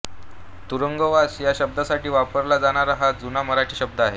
तुरुंगवास या शब्दासाठी वापरला जाणारा हा जुना मराठी शब्द आहे